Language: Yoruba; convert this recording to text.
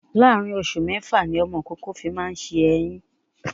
Láàárín oṣù mẹ́fà ni ọmọ ìkókó fi máa ń ṣe èyín